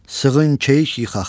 Sığın keyik yıxaq.